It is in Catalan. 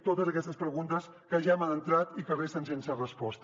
totes aquestes preguntes que ja hem entrat i que resten sense resposta